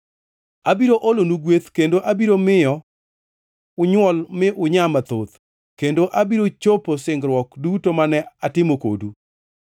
Abiro olonu gweth, kendo abiro miyo unywol mi ununyaa mathoth, kendo abiro chopo singruok duto mane atimo kodu.